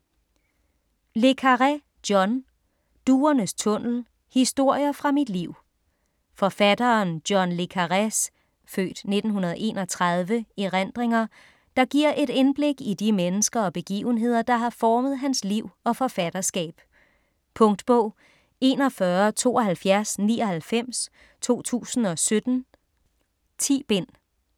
Le Carré, John: Duernes tunnel: historier fra mit liv Forfatteren John le Carrés (f. 1931) erindringer, der giver et indblik i de mennesker og begivenheder, der har formet hans liv og forfatterskab. Punktbog 417299 2017. 10 bind.